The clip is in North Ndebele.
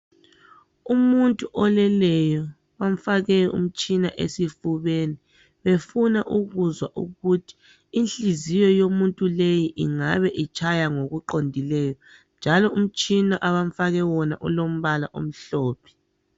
Umuntu oleleyo bamfake umtshina esifubeni befuna ukuzwa ukuthi inhliziyo yomuntu lowu ingabe itshaya ngokuqondileyo. Njalo umtshina abamfake wona ulombala omhlophe.